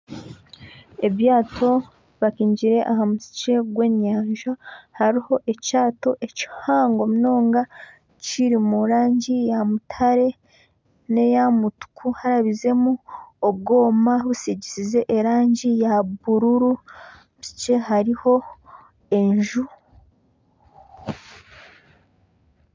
Ebyato bipakingire aha mutwe gw'enyanja, hariho ekyato kihango munonga kiri mu rangi ya mutare n'eya mutuku harabizemu obwoma busigisize erangi ya bururu bukye, hariho enju.